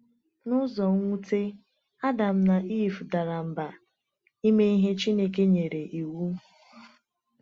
N’ụzọ nwute, Adam na Ivụ dara mba ime ihe Chineke nyere iwu.